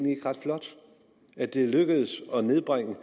ret flot at det er lykkedes at nedbringe